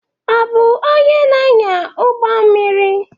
Ị bụ onye na-anya ụgbọ mmiri?